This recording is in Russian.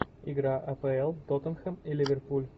игра апл тоттенхэм и ливерпуль